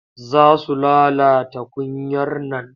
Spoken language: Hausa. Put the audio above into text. Za su lalata kunyar nan.